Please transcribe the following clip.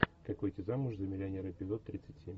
как выйти замуж за миллионера эпизод тридцать семь